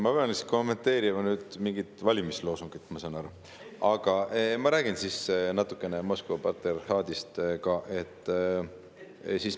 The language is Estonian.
Ma pean vist nüüd kommenteerima mingit valimisloosungit, ma saan aru, aga ma räägin natukene ka Moskva patriarhaadist.